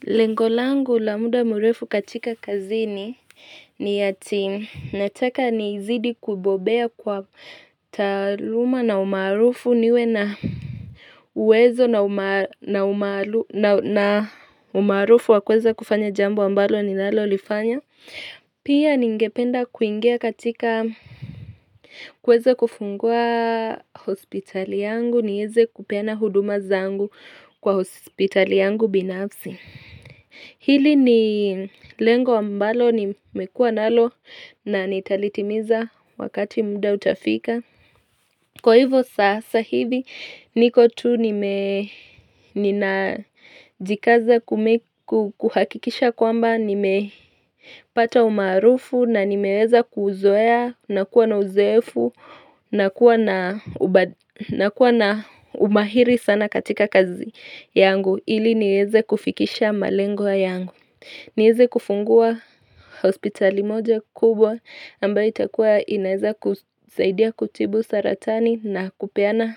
Lengo langu la muda mrefu katika kazini ni ati nataka ni zidi kubobea kwa taaluma na umarufu niwe na uwezo na umaarufu wa kuweza kufanya jambo ambalo ni lalo lifanya. Pia ningependa kuingia katika kuweza kufungua hospitali yangu niweze kupena huduma zangu kwa hospitali yangu binafsi. Hili ni lengo ambalo nimekua nalo na nitalitimiza wakati muda utafika. Kwa hivo sasa hivi niko tu ninajikaza kuhakikisha kwamba nime pata umaarufu na nimeweza kuzoea na kuwa na uzoefu na kuwa na umahiri sana katika kazi yangu. Ili niweze kufikisha malenge yangu niweze kufungua hospitali moja kubwa ambayo itakuwa inaweza kusaidia kutibu saratani na kupeana